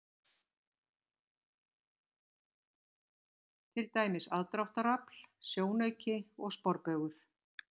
Til dæmis: aðdráttarafl, sjónauki og sporbaugur.